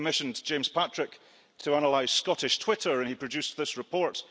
I commissioned James Patrick to analyse Scottish Twitter, and he produced this report.